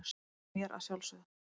og mér að sjálfsögðu.